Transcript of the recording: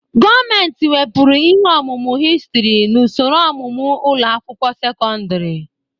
Gọọmentị wepụrụ ihe ọmụmụ Histurị n'usoro ọmụmụ ụlọ akwụkwọ sekọndrị.